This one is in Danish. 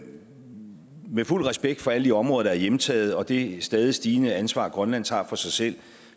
vil fuld respekt for alle de områder der er hjemtaget og det stadig stigende ansvar grønland tager for sig selv